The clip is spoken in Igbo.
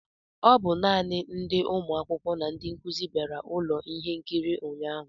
Ọ bụ naanị ndi ụmụ akwụkwọ na ndị nkuzi bịara ụlọ ihe nkiri ụnyahụ